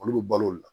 Olu bɛ balo olu la